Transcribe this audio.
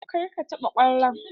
Kar ka taɓa kwallon!